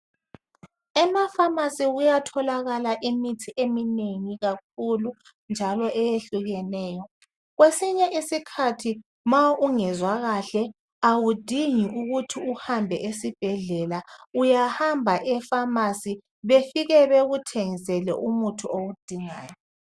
Emafamasi kuyatholakala imithi eminengi kakhulu njalo eyehlukeneyo. Kwesinye isikhathi ma ungezwa kahle awudingi ukuthi uhambe esibhedlela, uyahamba efamasi, befike bekuthengisele umuthi owudingayo.